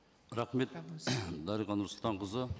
рахмет дариға нұрсұлтанқызы